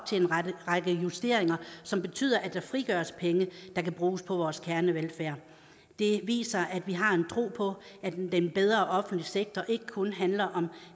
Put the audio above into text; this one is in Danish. til en række justeringer som betyder at der frigøres penge der kan bruges på vores kernevelfærd det viser at vi har en tro på at en bedre offentlig sektor ikke kun handler om